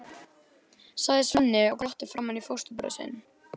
sagði Svenni og glotti framan í fóstbróður sinn.